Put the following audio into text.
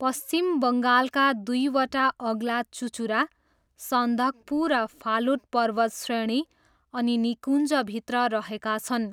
पश्चिम बङ्गालका दुईवटा अग्ला चुचुरा सन्दकपु र फालुट पर्वतश्रेणी अनि निकुञ्जभित्र रहेका छन्।